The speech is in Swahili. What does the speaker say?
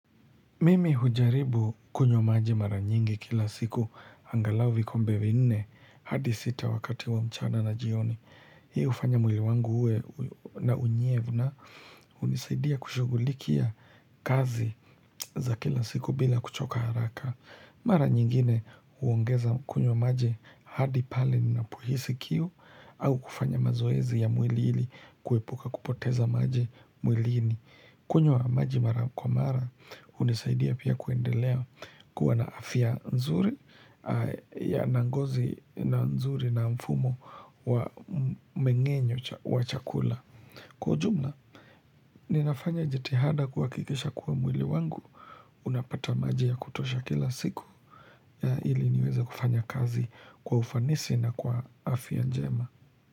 Mimi hujaribu kunywa maji mara nyingi kila siku. Angalau vikombe vinne hadi sita wakati wa mchana na jioni. Hii hufanya mwili wangu uwe na unyevu. Na hunisaidia kushughulikia kazi za kila siku bila kuchoka haraka. Mara nyingine huongeza kunywa maji hadi pale ninapohisi kiu au kufanya mazoezi ya mwili ili kuepuka kupoteza maji mwilini. Kunywa maji mara kwa mara hunisaidia pia kuendelea kuwa na afya nzuri. Na ngozi na nzuri na mfumo wa meng'enyo wa chakula. Kwa ujumla, ninafanya jitihada kuhakikisha kuwa mwili wangu. Unapata maji ya kutosha kila siku. Ili niweze kufanya kazi kwa ufanisi na kwa afya njema.